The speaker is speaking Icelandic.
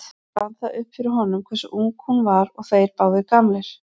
Þá rann það upp fyrir honum hversu ung hún var og þeir báðir gamlir.